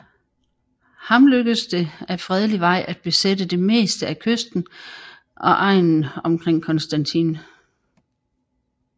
Ham lykkedes det ad fredelig Vej at besætte det meste af kysten og egnen omkring Constantine